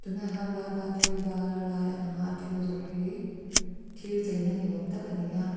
a hnuai ah hian vaipa thil zuar lai a lang a a thil zawrh hi thil chei na ni awm tak ani a.